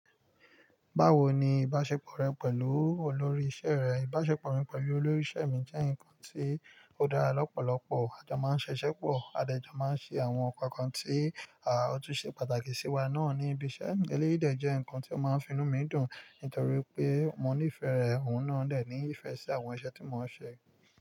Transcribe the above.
Báwo ni ìbáṣepọ̀ rẹ pẹ̀lú olórí iṣẹ́ rẹ? Ìbáṣepọ̀ mi pẹ̀lú olórí iṣẹ́ mi jẹ́ ǹkan tí ó dára lọ́pọ̀lọpọ̀. A jọ máa ń ṣiṣẹ́ pọ̀, a dẹ jọ máa ń ṣe àwọn nkan kan tí àá otún ṣe pàtàkì sí wa náà ní ibi iṣẹ́. Eléyì dẹ jẹ́ ǹkan tí ó máa ń fi inú mi dùn, nítorí pé mò ní ìfẹ́ rẹ̀, òun náà lè ní ìfẹ́ sí àwọn iṣẹ́ tí mò ń ṣe.